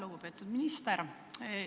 Lugupeetud minister!